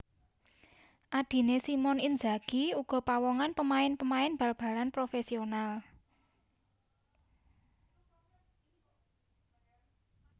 Adiné Simone Inzaghi uga pawongan pemain pemain bal balan profesional